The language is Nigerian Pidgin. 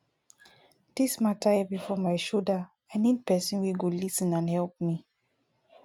dis mata heavy for my shoulder i need pesin wey go lis ten and help me